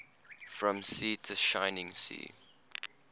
from sea to shining sea